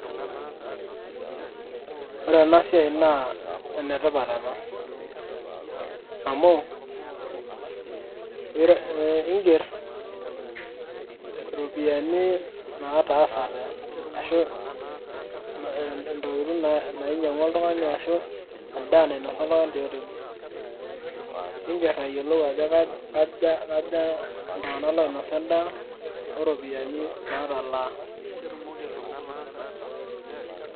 Ore enasiai naa enetipat ena. Amu iiger iropiyiani nataasate ashu intokiting' nainyang'ua oltung'ani ashu endaa nainasa oltung'ani tioteli. Niiger ayiolou ajo kaja iltung'anak oinosa endaa, oropiyiani natalaa.